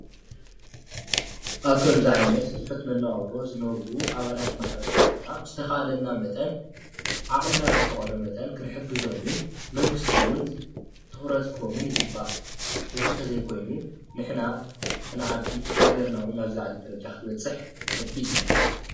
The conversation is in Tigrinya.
ኣብ ከምእዚ ዓይነት ትሑት መነባብሮ ዝነብሩ ኣባላት ማሕበረሰብና ብዝተካኣላና መጠን ዓቅምና ብዝፈቀዶ መጠን ክንሕግዞምን መንግስቲ እውን ትኩረት ክህቦም ይግባእ፡፡ እዚ እንተዘይ ኮይኑ ንሕናክ ንዓቢ ሃገርና እውን ናብ ዝላዓለ ደረጃ ክትበፅሕ ከቢድ እዩ፡፡